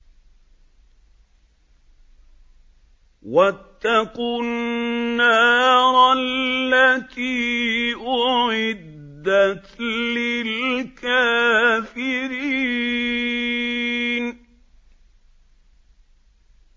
وَاتَّقُوا النَّارَ الَّتِي أُعِدَّتْ لِلْكَافِرِينَ